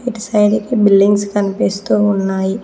ఇటు సైడైతే బిల్డింగ్స్ కనిపిస్తూ ఉన్నాయి.